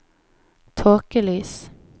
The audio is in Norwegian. tåkelys